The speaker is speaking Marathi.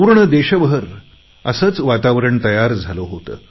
पूर्ण देशभर असेच वातावरण तयार झाले होते